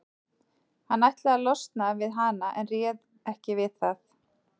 Hann ætlaði að losna við hana en réð ekki við það.